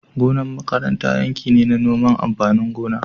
Gonar makaranta yanki ne na noman amfanin gona